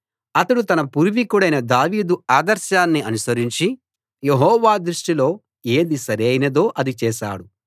అతడు తన పూర్వికుడైన దావీదు ఆదర్శాన్ని అనుసరించి యెహోవా దృష్టిలో ఏది సరైనదో అది చేశాడు